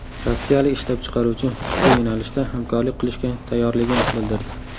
Rossiyalik ishlab chiqaruvchi ushbu yo‘nalishda hamkorlik qilishga tayyorligini bildirdi.